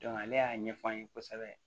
ale y'a ɲɛf'an ye kosɛbɛ